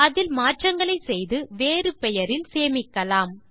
அதில் மாற்றங்களை செய்து வேறு பெயரில் சேமிக்கலாம்